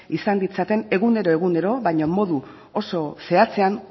izan ditzaten egunero egunero baino modu oso zehatzean